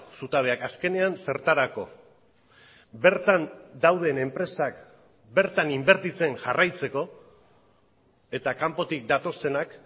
zutabeak azkenean zertarako bertan dauden enpresak bertan inbertitzen jarraitzeko eta kanpotik datozenak